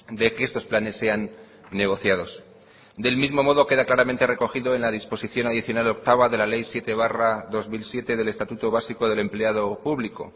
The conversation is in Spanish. de que estos planes sean negociados del mismo modo queda claramente recogido en la disposición adicional octava de la ley siete barra dos mil siete del estatuto básico del empleado público